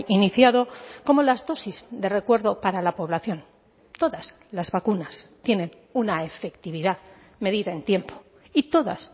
iniciado como las dosis de recuerdo para la población todas las vacunas tienen una efectividad medida en tiempo y todas